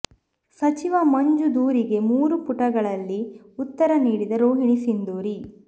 ಸಚಿವ ಮಂಜು ದೂರಿಗೆ ಮೂರು ಪುಟಗಳಲ್ಲಿ ಉತ್ತರ ನೀಡಿದ ರೋಹಿಣಿ ಸಿಂಧೂರಿ